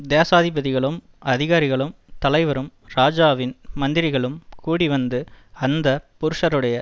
தேசாதிபதிகளும் அதிகாரிகளும் தலைவரும் ராஜாவின் மந்திரிகளும் கூடிவந்து அந்த புருஷருடைய